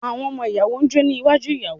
Àwọn ọmọ ìyàwó ń jó ní iwájú ìyàwó.